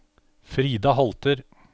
Frida Holter